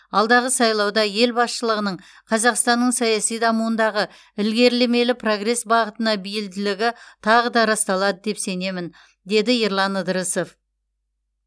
алдағы сайлауда ел басшылығының қазақстанның саяси дамуындағы ілгерілемелі прогресс бағытына бейілділігі тағы да расталады деп сенемін деді ерлан ыдырысов